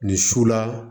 Nin su la